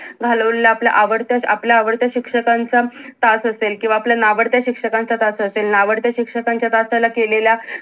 घालवलेला आपला आवडता आपला आवडता शिक्षकांच्या तास असेल किंवा आपल्या नावडत्या शिक्षकांचा तास असेल नावडत्या शिक्षकांच्या तासाला केलेला